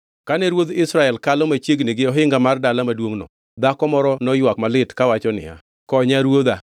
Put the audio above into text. Kane ruodh Israel kalo machiegni gi ohinga mar dala maduongʼno, dhako moro noywak malit kawacho niya, “Konya, ruodha!”